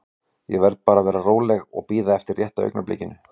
Ég verð bara að vera róleg og bíða eftir rétta augnablikinu.